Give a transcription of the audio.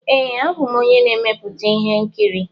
Ee, abụ m onye na-emepụta ihe nkiri.